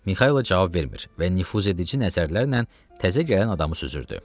Mixaylov cavab vermir və nüfuzedici nəzərlərlə təzə gələn adamı süzürdü.